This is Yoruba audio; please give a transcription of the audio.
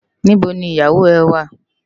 Nibó ni iyáwó è wá?